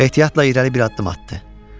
Ehtiyatla irəli bir addım atdı.